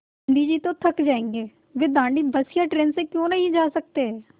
गाँधी जी तो थक जायेंगे वे दाँडी बस या ट्रेन से क्यों नहीं जा सकते